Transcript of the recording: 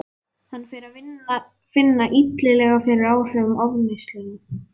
Hann fer að finna illilega fyrir áhrifum ofneyslunnar.